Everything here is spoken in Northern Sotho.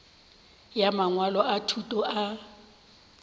ya mangwalo a thuto a